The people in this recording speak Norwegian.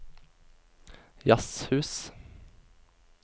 jazzhus